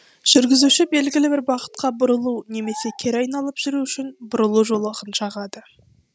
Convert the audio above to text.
жүргізуші белгілі бір бағытқа бұрылу немесе кері айналып жүру үшін бұрылу жолағын жағады